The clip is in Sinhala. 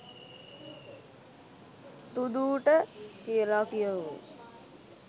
තුදූට කියලා කියවමු.